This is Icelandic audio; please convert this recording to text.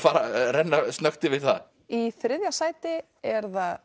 renna snöggt yfir það í þriðja sæti er það